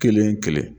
Kelen kelen